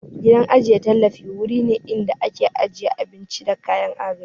Gidan ajiye tallafi wuri ne inda ake ajiyan abinci da kayan agaji